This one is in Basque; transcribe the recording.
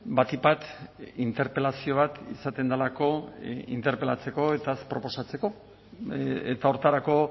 batik bat interpelazio bat izaten delako interpelatzeko eta proposatzeko eta horretarako